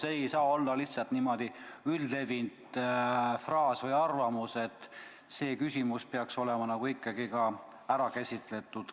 See ei saa olla lihtsalt üldlevinud fraas või arvamus, see küsimus peaks olema ikkagi detailsemalt ära käsitletud.